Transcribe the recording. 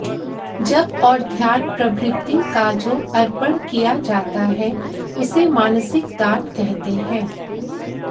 जप और ध्यान प्रभृति का जो अर्पण किया जाता है उसे मानसिक दान कहते हैं